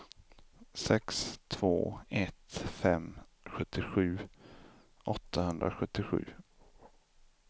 sex två ett fem sjuttiosju åttahundrasjuttiosju